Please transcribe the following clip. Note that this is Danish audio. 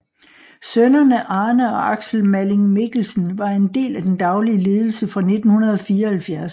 Sønnerne Arne og Aksel Malling Mikkelsen var en del af den daglige ledelse fra 1974